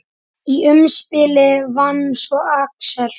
Í umspili vann svo Axel.